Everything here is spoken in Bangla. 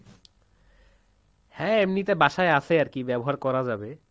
হ্যাঁ, এমনিতে বাসায় আছে আরকি ব্যবহার করা যাবে।